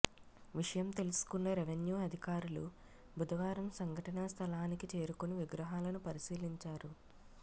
విషయం తెలుసుకున్న రెవెన్యూ అధికారులు బుధవారం సంఘటనా స్థలానికి చేరుకొని విగ్రహాలను పరిశీలించారు